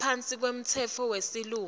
ngaphansi kwemtsetfo wesilumbi